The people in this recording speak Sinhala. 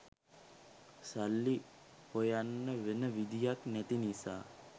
සල්ලි හොයන්න වෙන විදිහක් නැති නිසා